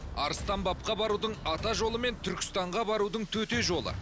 арыстанбапқа барудың ата жолы мен түркістанға барудың төте жолы